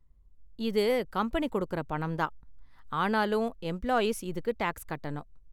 இது கம்பெனி கொடுக்கற பணம் தான், ஆனாலும் எம்ப்ளாயீஸ் இதுக்கு டாக்ஸ் கட்டணும்.